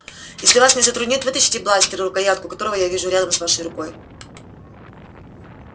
если вас не затруднит вытащите бластер рукоятку которого я вижу рядом с вашей рукой